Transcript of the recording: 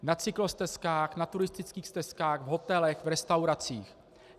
Na cyklostezkách, na turistických stezkách, v hotelech, v restauracích.